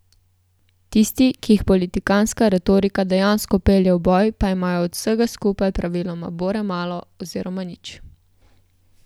Tisti, ki jih politikantska retorika dejansko pelje v boj, pa imajo od vsega skupaj praviloma bore malo oziroma nič.